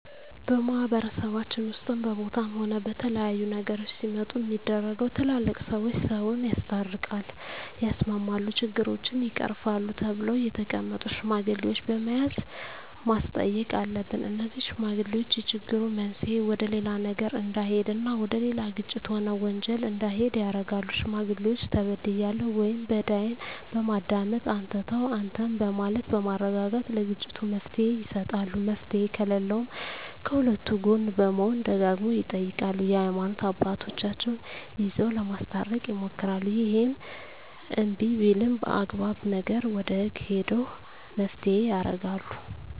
በማህበረሰባችን ውስጥም በቦታም ሆነ በተለያዩ ነገሮች ሲመጡ ሚደረገው ትላልቅ ሰዎች ሰውን ያስታርቃል ያስማማሉ ችግሮችን ይቀርፋሉ ተብለው የተቀመጡ ሽማግሌዎች በመያዝ ማስተየቅ አሉብን እነዜህ ሽማግሌዎች የችግሩ መንሰየ ወደሌላ ነገር እዳሄድ እና ወደሌላ ግጭት ሆነ ወንጀል እንዲሄድ ያረጋሉ ሽማግሌዎች ተበድያለሁ ወይም በዳይን በማዳመጥ አንተ ተው አንተም በማለት በማረጋጋት ለግጭቱ መፍትሔ ይሰጣሉ መፍትሔ ከለለውም ከሁለቱ ጎን በመሆን ደጋግመው ይጠይቃሉ የሀይማኖት አባቶቻቸው ይዘው ለማስታረቅ ይሞክራሉ እሄም እንብይ ቢልም አግባብ ነገር ወደ ህግ ሄደው መፋተየ ያረጋሉ